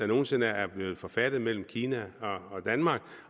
nogen sinde er blevet forfattet mellem kina og danmark